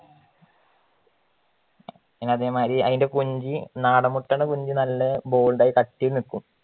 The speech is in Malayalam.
പിന്നെ അതെ മാരി അയിൻറ്റെ കുഞ്ഞി നടൻ മുട്ടയുടെ കുഞ്ഞി നല്ല bold ആയിട്ട് കട്ടിയിൽ നിക്കും